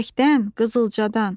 Çiçəkdən, qızılcadan.